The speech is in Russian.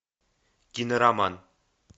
кинороман